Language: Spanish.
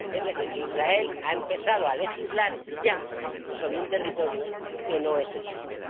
Es decir, que Israel ha empezado a legislar ya sobre un territorio que no es el suyo.